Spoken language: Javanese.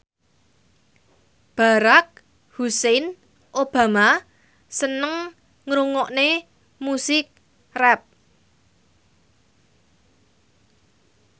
Barack Hussein Obama seneng ngrungokne musik rap